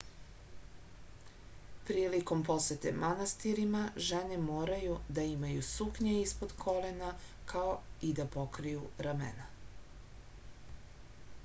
prilikom posete manastirima žene moraju da imaju suknje ispod kolena kao i da pokriju ramena